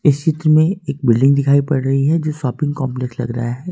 इस चित्र में एक बिल्डिंग दिखाई पड़ रही है जो शॉपिंग कॉम्प्लेक्स लग रहा है।